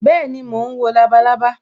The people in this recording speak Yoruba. Bẹẹni, mo ń wo labalábá